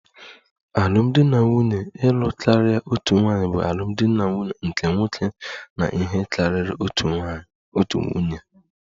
Alụmdi na nwunye ịlụ karịa otu nwaanyị bụ alụmdi na nwunye nke nwoke na ihe karịrị otu nwunye